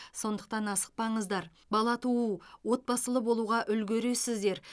сондықтан асықпаңыздар бала туу отбасылы болуға үлгересіздер